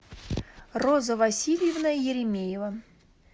роза васильевна еремеева